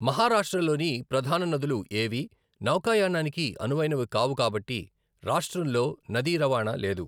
మహారాష్ట్రలోని ప్రధాన నదులు ఏవీ నౌకాయానానికి అనువైనవి కావు కాబట్టి రాష్ట్రంలో నదీ రవాణా లేదు.